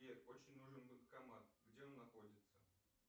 сбер очень нужен банкомат где он находится